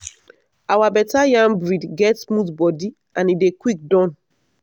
our better yam breed get smooth body and e dey quick done.